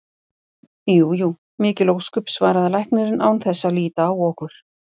Jú jú, mikil ósköp, svaraði læknirinn án þess að líta á okkur.